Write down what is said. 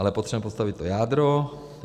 Ale potřebujeme postavit to jádro.